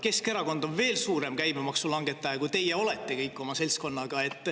Keskerakond on veel suurem käibemaksu langetaja, kui teie olete kõik oma seltskonnaga.